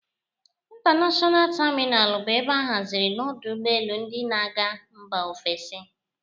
Intanashọna tamịnal bụ ebe a hazịrị n'ọdụ ụgbọelu ndị na-aga Mbá ofesi.